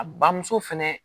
A bamuso fɛnɛ